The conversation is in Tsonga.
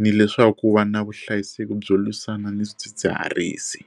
ni leswaku va na vuhlayiseki byo lwisana ni swidzidziharisi.